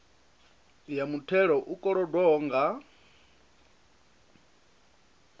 ya muthelo u kolodwaho nga